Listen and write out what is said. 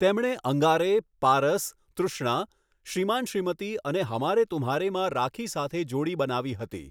તેમણે 'અંગારે', 'પારસ', 'તૃષ્ણા', 'શ્રીમાન શ્રીમતી' અને 'હમારે તુમ્હારે'માં રાખી સાથે જોડી બનાવી હતી.